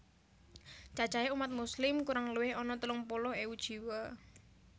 Cacahé umat Muslim kurang luwih ana telung puluh ewu jiwa